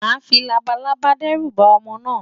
Màá fi labalábá dẹ́rù ba ọmọ náà.